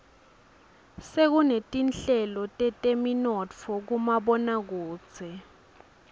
sekunetinhlelo teteminotfo kumaboakudze